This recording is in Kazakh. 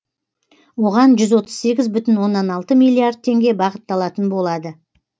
оған жүз отыз сегіз бүтін оннан алты миллиард теңге бағытталатын болады